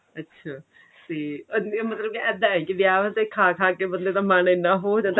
ਅੱਛਿਆ ਤੇ ਮਤਲਬ ਇੱਦਾਂ ਹੈ ਕੇ ਵਿਆਹ ਤੇ ਖਾ ਖਾ ਕਿ ਬੰਦੇ ਦਾ ਮਨ ਇੰਨਾ ਹੋ ਜਾਂਦਾ